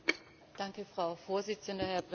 Frau Vorsitzende! Herr Präsident!